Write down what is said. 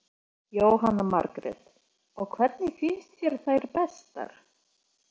Jóhanna Margrét: Og hvernig finnst þér þær bestar?